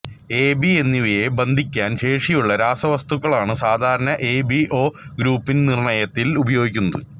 A B എന്നിവയെ ബന്ധിക്കാൻ ശേഷിയുള്ള രാസവസ്തുക്കളാണു സാധാരണ എബിഓ ഗ്രൂപ്പുനിർണയത്തിൽ ഉപയോഗിക്കുന്നത്